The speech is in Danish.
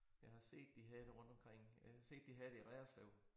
Jeg har set de havde rundtomkring øh set de havde det i Reerslev